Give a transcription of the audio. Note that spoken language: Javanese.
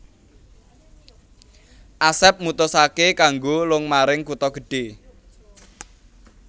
Asep mutusaké kanggo lung maring kutha gedhe